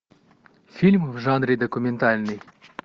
фильм в жанре документальный